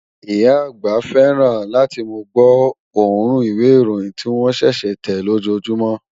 Ìyá àgbà fẹ́ràn láti mú gbọ́ òórùn ìwé ìròyìn tí wón ṣẹ̀ṣẹ̀ tẹ̀ lójoójúmọ